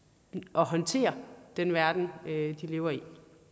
og håndtere den verden de lever i